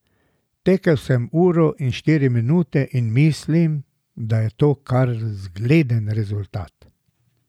Tekel sem uro in štiri minute in mislim, da je to kar zgleden rezultat.